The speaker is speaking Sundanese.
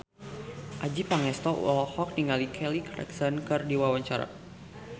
Adjie Pangestu olohok ningali Kelly Clarkson keur diwawancara